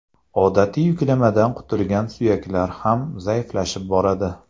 Odatiy yuklamadan qutulgan suyaklar ham zaiflashib boradi.